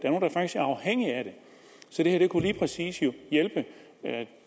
så det her kunne lige præcis hjælpe